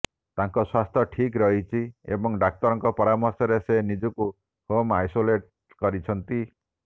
ତାଙ୍କ ସ୍ବାସ୍ଥ୍ୟ ଠିକ୍ ରହିଛି ଏବଂ ଡାକ୍ତରଙ୍କ ପରାମର୍ଶରେ ସେ ନିଜକୁ ହୋମ୍ ଆଇସୋଲେଟ୍ କରିଛନ୍ତି